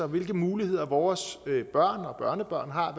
hvilke muligheder vores børn og børnebørn har